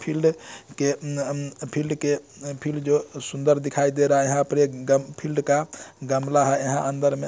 Field के अन अन फील्ड के फील्ड जो सुंदर दिखाई दे रहा है यहां पर एक ग फील्ड का गमला है यहाँ अंदर में।